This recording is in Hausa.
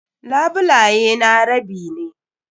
Labulaye na rabi ne.